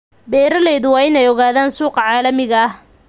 Beeraleydu waa inay ogaadaan suuqa caalamiga ah.